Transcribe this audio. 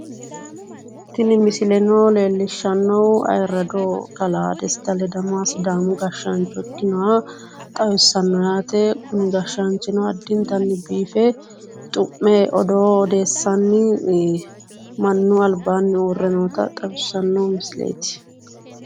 Tini misileno leellishshannohu ayirrado kalaa Desta ledamoha sidaamu gashshaancho ikkinoha xawissanno yaate kuni gashshaanchino addinta biife xu'me odoo odeessanni mannu albaanni uure noota xawissanno misileeti.